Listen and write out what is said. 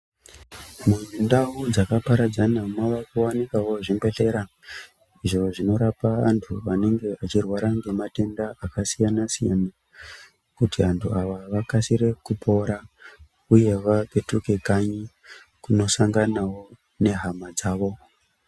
Mundau dzakaparadzana maakuwanikawo zvibhedhlera, izvo zvinorapa antu anenge achirwara ngematenda akasiyana-siyana, kuti antu ava vakasire kupora uye vapetuke kanyi ,kunosanganawo nehama dzavo.